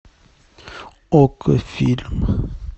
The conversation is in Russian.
окко фильм